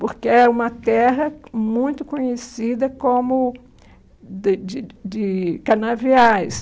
porque é uma terra muito conhecida como de de de canaviais.